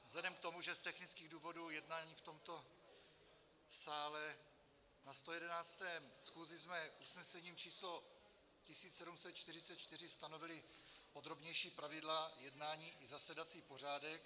Vzhledem k tomu, že z technických důvodů jednáme v tomto sále, na 111. schůzi jsme usnesením číslo 1744 stanovili podrobnější pravidla jednání i zasedací pořádek.